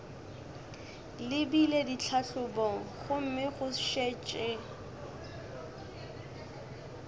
lebile ditlhahlobong gomme go šetše